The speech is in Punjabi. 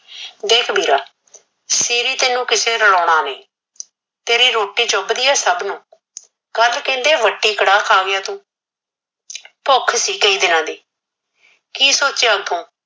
ਦਿਖ ਵੀਰਾ ਸਿਰੀ ਤੇਨੁ ਕਿਸੇ ਰਲਾਉਣ ਨਈ ਤੇਰੀ ਰੋਟੀ ਚੁਬਦੀ ਏ ਸਬ ਨੂ ਕਲ ਕਹਿਦੇ ਮਟੀ ਕੜਾਹ ਖਾ ਗਿਆ ਤੂ ਭੁਖ ਸੀ ਕਈ ਦਿਨਾ ਦੀ ਕੀ ਸੋਚਿਆ ਤੂ